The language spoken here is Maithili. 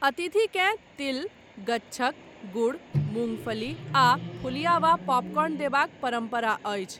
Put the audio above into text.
अतिथिकेँ तिल, गच्छक, गुर, मूंगफली आ फुलिया वा पॉपकॉर्न देबाक परम्परा अछि।